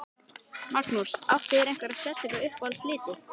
Magnús: Áttu þér einhverja sérstaka uppáhalds liti?